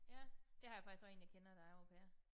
Ja det har jeg faktisk også én jeg kender der er au pair